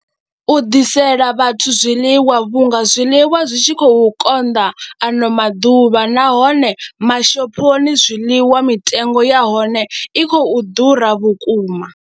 U ḓisela vhathu zwiḽiwa vhunga zwiḽiwa zwi tshi khou konḓa ano maḓuvha nahone mashophoni zwiḽiwa mitengo ya hone i khou ḓura vhukuma.